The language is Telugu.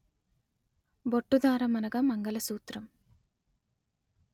బొట్టుదారము అనగా మంగళసూత్రము